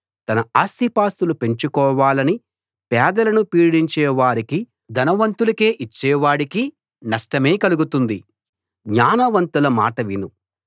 తన ఆస్తిపాస్తులు పెంచుకోవాలని పేదలను పీడించే వారికి ధనవంతులకే ఇచ్చే వాడికి నష్టమే కలుగుతుంది